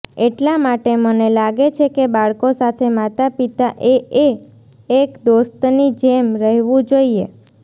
એટલા માટે મને લાગે છે કે બાળકો સાથે માતા પિતાએએ એક દોસ્તની જેમ રહેવું જોઈએ